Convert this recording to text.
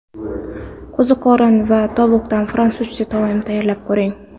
Qo‘ziqorin va tovuqdan fransuzcha taom tayyorlab ko‘ring.